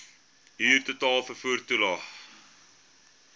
huurtoelae vervoer toelae